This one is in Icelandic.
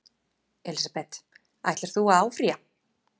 Elísabet: Ætlar þú að áfrýja?